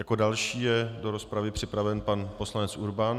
Jako další je do rozpravy připraven pan poslanec Urban.